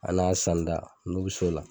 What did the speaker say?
A n'a sanda n'u bi s'o la.